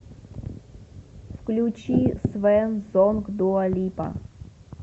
включи свэн сонг дуа липа